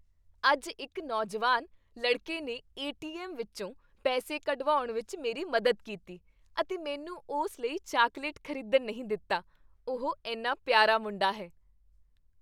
ਅੱਜ ਇੱਕ ਨੌਜਵਾਨ ਲੜਕੇ ਨੇ ਏ. ਟੀ. ਐੱਮ. ਵਿੱਚੋਂ ਪੈਸੇ ਕਢਵਾਉਣ ਵਿੱਚ ਮੇਰੀ ਮਦਦ ਕੀਤੀ ਅਤੇ ਮੈਨੂੰ ਉਸ ਲਈ ਚਾਕਲੇਟ ਖ਼ਰੀਦਣ ਨਹੀਂ ਦਿੱਤਾ। ਉਹ ਇੰਨਾ ਪਿਆਰਾ ਮੁੰਡਾ ਹੈ।